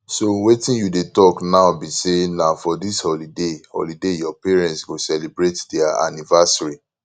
so wetin you dey talk now be say na for dis holiday holiday your parents go celebrate their anniversary